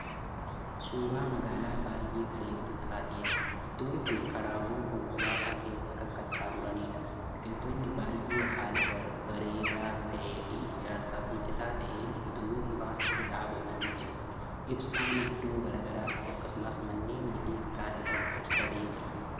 Suuraa magaalaa baay'ee bareeddu taateeti. iddoon Kuni karaawwan konkolaataa keessa Kan qaxxamuraniidha. biqiltoonni baay'ee haala bareedaa taa'eefi ijaarsaaf mijataa ta'een iddoowwan muraasatti dhaabamanii jiru. ibsaaniddoo garagaraatti akkasumas manneeni Fi karaa irratti ibsamee Jira.